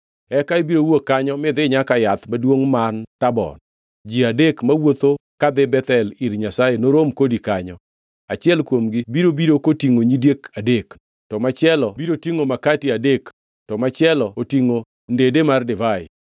“Eka ibiro wuok kanyo midhi nyaka yath maduongʼ man Tabor. Ji adek mawuotho kadhi Bethel ir Nyasaye norom kodi kanyo. Achiel kuomgi biro biro kotingʼo nyidiek adek, to machielo biro tingʼo makati adek, to machielo to otingʼo ndede mar divai.